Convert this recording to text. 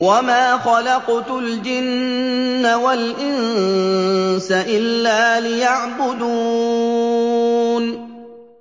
وَمَا خَلَقْتُ الْجِنَّ وَالْإِنسَ إِلَّا لِيَعْبُدُونِ